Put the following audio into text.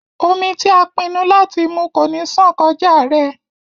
Omí ti a pinnu láti mú ko ní ṣan kọja rẹ.